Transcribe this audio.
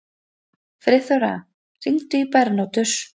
Friðþóra, hringdu í Bernótus.